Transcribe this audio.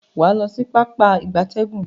Waa lo si Pápá ìgbatẹ́gùn.